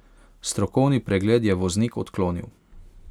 Strokovni pregled je voznik odklonil.